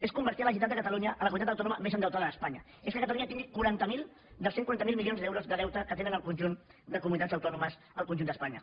és convertir la generalitat de catalunya en la comunitat autònoma més endeutada d’espanya és que catalunya tingui quaranta miler dels cent i quaranta miler milions d’euros de deute que tenen el conjunt de comunitats autònomes al conjunt d’espanya